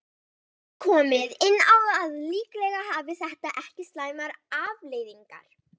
Þó er komið inn á að líklega hafi þetta ekki slæmar afleiðingar.